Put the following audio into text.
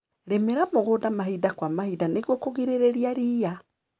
Rĩmĩra mũgunda mahinda kwa mahinda nĩguo kũgirĩrĩria ria.